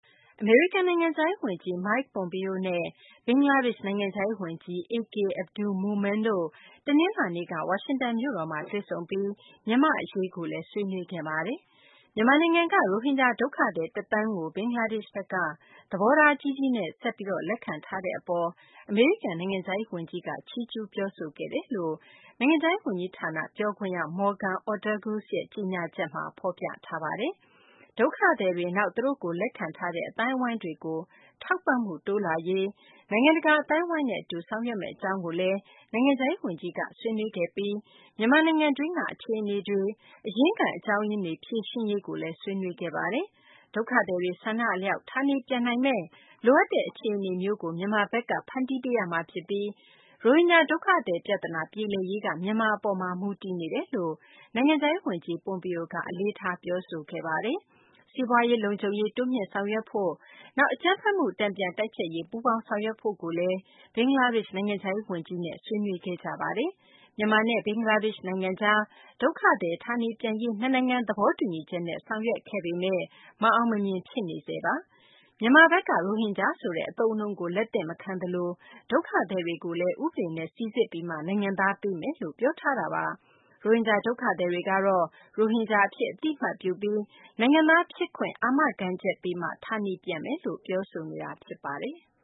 အမေရိကန် နိုင်ငံခြားရေး ဝန်ကြီး Mike Pompeo နဲ့ ဘင်္ဂလားဒေရှ့် နိုင်ငံခြားရေး ဝန်ကြီး A.K. Abdul Momen တို့ တနလာၤနေ့က ဝါရှင်တန်မြို့တော်မှာ တွေ့ဆုံတာမှာ မြန်မာ့ အရေးကိုလည်း ဆွေးနွေးခဲ့ကြပါတယ်။ မြန်မာနိုင်ငံက ရိုဟင်ဂျာ ဒုက္ခသည် တသန်းကို ဘင်္ဂလားဒေရှ့်ဘက်က သဘောထားကြီးကြီးနဲ့ ဆက်ပြီး လက်ခံထားတဲ့ အပေါ် အမေရိကန် နိုင်ငံခြားရေး ဝန်ကြီးက ချီးကျူး ပြောဆိုခဲ့တယ်လို့ နိုင်ငံခြားရေး ဝန်ကြီးဌာန ပြောခွင့်ရ Morgan Ortagus ရဲ့ ကြေညာချက်မှာ ဖော်ပြထားပါတယ်။ ဒုက္ခသည်တွေ၊ နောက် သူတို့ကို လက်ခံထားတဲ့ အသိုင်းအဝိုင်းတွေကို ထောက်ပံ့မှု တိုးလာရေး နိုင်ငံတကာ အသိုင်းအဝိုင်းနဲ့ အတူ ဆောင်ရွက်မယ့် အကြောင်းတွေကိုလည်း အမေရိကန် နိုင်ငံခြားရေး ဝန်ကြီးက ဆွေးနွေးခဲ့ပြီး မြန်မာနိုင်ငံတွင်းက အခြေအနေတွေ၊ အရင်းခံ အကြောင်းရင်းတွေ ဖြေရှင်းရေးကိုလည်း ဆွေးနွေးခဲ့ကြပါတယ်။ ဒုက္ခသည်တွေ ဆန္ဒအလျောက် ဌာနေပြန်နိုင်မယ့် လိုအပ်တဲ့ အခြေအနေမျိုးကို မြန်မာဘက်က ဖန်တီးပေးရမှာ ဖြစ်ပြီး ရိုဟင်ဂျာ ဒုက္ခသည် ပြသနာ ပြေလည်ရေးက မြန်မာ အပေါ်မှာ မူတည်နေတယ်လို့လည်း နိုင်ငံခြားရေး ဝန်ကြီး Pompeo က အလေးထား ပြောဆိုခဲ့ပါတယ်။ စီးပွားရေး၊ လုံခြုံရေး တိုးမြှင့်ဆောင်ရွက်ဖို့၊ နောက် အကြမ်းဖက်မှု တန်ပြန်တိုက်ဖျက်ရေး ပူးပေါင်းဆောင်ရွက်ဖို့ကိုလည်း ဘင်္ဂလားဒေရှ့် နိုင်ငံခြားရေး ဝန်ကြီးနဲ့ အမေရိကန် နိုင်ငံခြားရေး ဝန်ကြီးတို့ ဆွေးနွေးခဲ့ကြပါတယ်။ မြန်မာနဲ့ ဘင်္ဂလားဒေရှ့် နိုင်ငံကြား ဒုက္ခသည်တွေ ဌာနေပြန်ရေး နှစ်နိုင်ငံ သဘောတူညီချက်နဲ့ ဆောင်ရွက်နေပေမယ့် မအောင်မမြင် ဖြစ်နေဆဲပါ။ မြန်မာဘက်က ရိုဟင်ဂျာဆိုတဲ့ အသုံးအနှုန်းကို လက်သင့်မခံသလို ဒုက္ခသည်တွေကိုလည်း ဥပဒေနဲ့ စိစစ်ပြီးမှ နိုင်ငံသားပေးမယ်လို့ ပြောဆိုထားတာပါ။ ရိုဟင်ဂျာ ဒုက္ခသည်တွေကတော့ ရိုဟင်ဂျာ အဖြစ် အသိအမှတ်ပြုပြီး နိုင်ငံသား ဖြစ်ခွင့်အာမခံချက်ပေးမှ ဌာနေပြန်မယ်လို့ ပြောဆိုနေတာ ဖြစ်ပါတယ်။